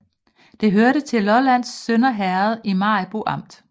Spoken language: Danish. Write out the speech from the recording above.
Det hørte til Lollands Sønder Herred i Maribo Amt